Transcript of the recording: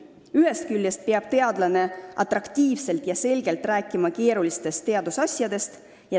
Ühest küljest peab teadlane atraktiivselt ja selgelt rääkima keerulistest teadusasjadest.